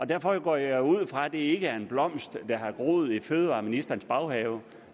derfor går jeg ud fra det ikke er en blomst der har groet i fødevareministerens baghave